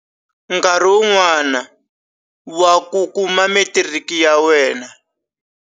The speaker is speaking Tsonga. Nkarhi wun'wana wa ku kuma matiriki ya wena.